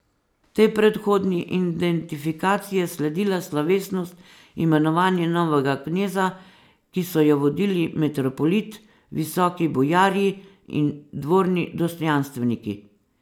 Tej predhodni identifikaciji je sledila slovesnost imenovanja novega kneza, ki so jo vodili metropolit, visoki bojarji in dvorni dostojanstveniki.